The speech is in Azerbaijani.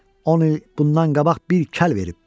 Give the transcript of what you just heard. On il bundan qabaq bir kəl verib.